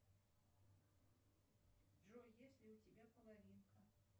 джой есть ли у тебя половинка